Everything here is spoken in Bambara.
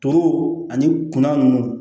Toro ani kunna nunnu